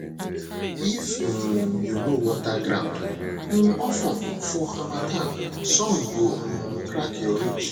if um you no water ground um of ten for harmattan sun go um crack your ridge